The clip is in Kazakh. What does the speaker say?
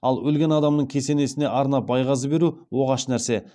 ал өлген адамның кесенесіне арнап байғазы беру оғаш нәрсе